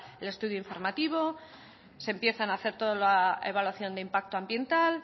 el estudio informativo se empiezan a hacer toda la evaluación de impacto ambiental